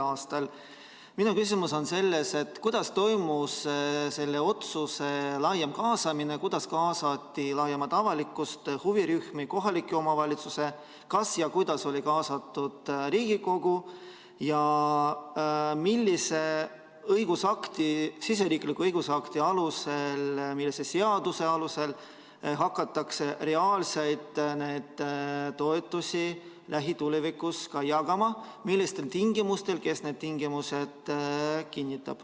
a. Minu küsimus on selles, kuidas toimus selle otsuse puhul laiem kaasamine, kuidas kaasati laiemat avalikkust, huvirühmi, kohalikke omavalitsusi, kas ja kuidas oli kaasatud Riigikogu ja millise siseriikliku õigusakti alusel, millise seaduse alusel hakatakse reaalseid toetusi lähitulevikus jagama, millistel tingimustel ja kes need tingimused kinnitab.